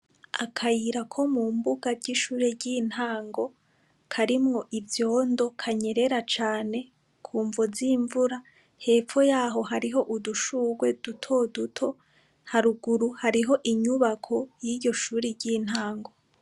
Akayira ko mumbuga ry' ishure ry' intango karimwo ivyondo kanyerera cane kumvo z' imvura hepfo yaho hariho udushugwe duto duto haruguru hariho inyubako y' iryo shure ry' intango.